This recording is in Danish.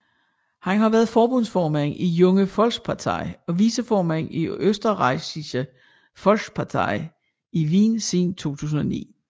Han har været forbundsformand i Junge Volkspartei og viceformand i Österreichische Volkspartei i Wien siden 2009